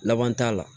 Laban t'a la